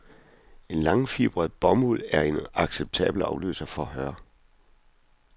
En langfibret bomuld er en acceptabel afløser for hør.